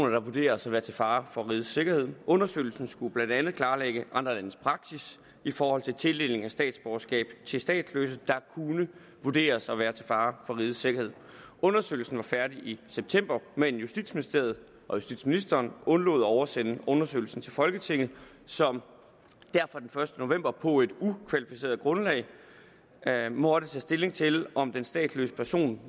der vurderes at være til fare for rigets sikkerhed undersøgelsen skulle blandt andet klarlægge andre landes praksis i forhold til tildeling af statsborgerskab til statsløse der kunne vurderes at være til fare for rigets sikkerhed undersøgelsen var færdig i september men justitsministeriet og justitsministeren undlod at oversende undersøgelsen til folketinget som derfor den første november på et ukvalificeret grundlag måtte tage stilling til om den statsløse person